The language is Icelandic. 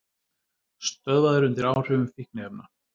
Stöðvaður undir áhrifum fíkniefna